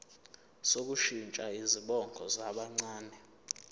sokushintsha izibongo zabancane